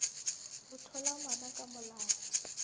ho thola ngwana ka molao